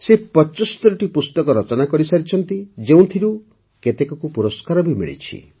ସେ ପଚସ୍ତରୀଟି ପୁସ୍ତକ ରଚନା କରିସାରିଛନ୍ତି ଯେଉଁଥିରୁ କେତେକକୁ ପୁରସ୍କାର ବି ମିଳିଛି